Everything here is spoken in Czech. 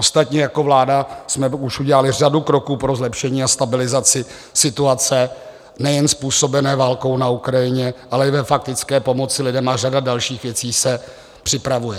Ostatně jako vláda jsme už udělali řadu kroků pro zlepšení a stabilizaci situace, nejen způsobené válkou na Ukrajině, ale i ve faktické pomoci lidem a řada dalších věcí se připravuje.